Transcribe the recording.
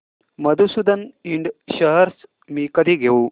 मधुसूदन इंड शेअर्स मी कधी घेऊ